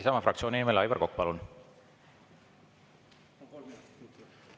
Isamaa fraktsiooni nimel, Aivar Kokk, palun!